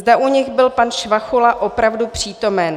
Zda u nich byl pan Švachula opravdu přítomen.